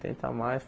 Tenta mais.